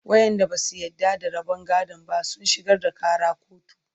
waƴanda Basu yarda da rabon gadon ba sun shigar da Ƙara kotu